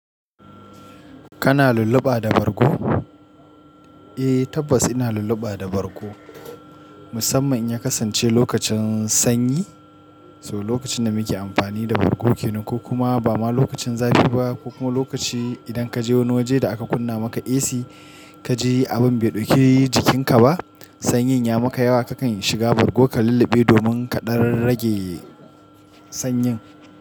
Kana lulluɓa da bargo? Eh tabbas ina lulluɓa da bargo, musamman in ya kasance lokacin sanyi. So lokacin da muke amfani da bargo kenan ko kuma ba ma lokacin zafi ba ko kuma lokaci idan kaje wani waje da aka kunna maka AC, kaji abin bai dauke jikinka ba, sanyin ya maka yawa kakan shiga bargo ka lulluɓe domin ka dar rage sanyin.